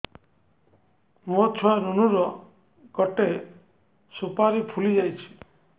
ମୋ ଛୁଆ ନୁନୁ ର ଗଟେ ସୁପାରୀ ଫୁଲି ଯାଇଛି